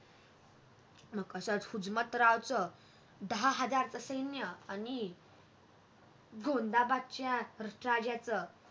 मग कस हुजमतरावच दहा हजारच सैन्य आणि गोंदाबादच्या राजाच